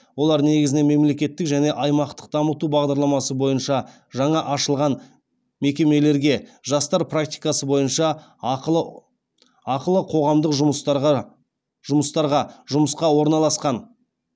олар негізінен мемлекеттік және аймақтық дамыту бағдарламасы бойынша жаңа ашылған мекемелерге жастар практикасы бойынша ақылы қоғамдық жұмыстарға жұмысқа орналасқан